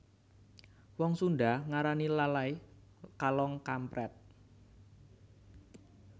Wong Sunda ngarani lalay kalong kamprèt